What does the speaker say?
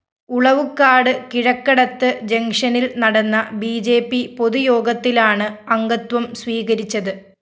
ഉളവുക്കാട് കിഴക്കടത്ത് ജങ്ഷനില്‍ നടന്ന ബി ജെ പി പൊതുയോഗത്തിലാണ് അംഗത്വം സ്വീകരിച്ചത്